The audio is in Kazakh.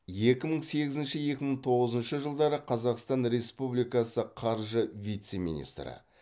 екі мың сегізінші екі мың тоғызыншы жылдары қазақстан республикасы қаржы вице министрі